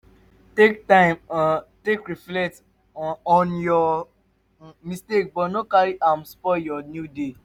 take time um take reflect um on yur um mistake but no carry am spoil yur new day